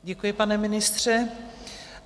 Děkuji, pane ministře.